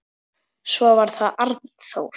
Svo var það Arnþór.